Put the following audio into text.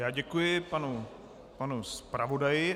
Já děkuji panu zpravodaji.